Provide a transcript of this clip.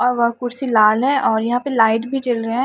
और वह कुर्सी लाल है और यहां पे लाइट भी जल रहा है।